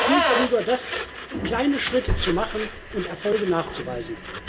Es ist viel klüger, kleine Schritte zu machen und Erfolge nachzuweisen.